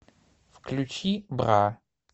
включи бра